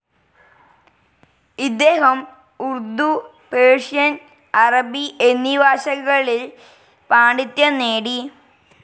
ഇദ്ദേഹം ഉർദു, പേർഷ്യൻ, അറബി എന്നീ ഭാഷകളിൽ പാണ്ഡിത്യം നേടി.